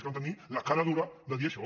és que van tenir la cara dura de dir això